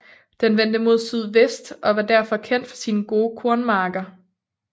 Den vender mod sydvest og var derfor kendt for sine gode kornmarker